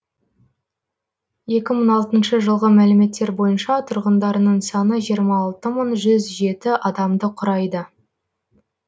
екі мың алтыншы жылғы мәліметтер бойынша тұрғындарының саны жиырма алты мың жүз жеті адамды құрайды